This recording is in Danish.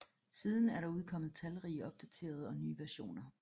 Siden er der udkommet talrige opdaterede og nye versioner